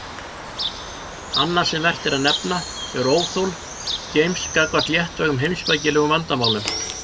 Annað sem vert er að nefna er óþol James gagnvart léttvægum heimspekilegum vandamálum.